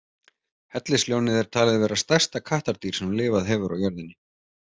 Hellisljónið er talið vera stærsta kattardýr sem lifað hefur á jörðinni.